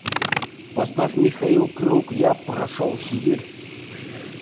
поставь михаил круг я прошел сибирь